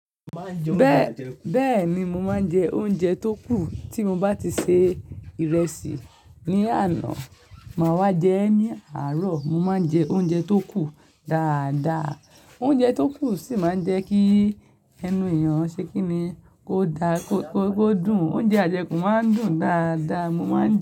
Bẹ́ẹ̀ni, mo máa ń jẹ oúnjẹ tó kù. Tí mo bá ti se ìrẹsì ní àná, màá wá jẹ ẹ́ ní àárọ̀. Mo máa ń jẹ oúnjẹ tó kù dáadáa. Oúnjẹ tó kù sì máa ń jẹ́ kí ẹnu èèyàn ṣe kí ni? Ó da, ó dùn. Oúnjẹ àjẹkù máa ń dùn dáadáa, mo máa ń jẹ ẹ́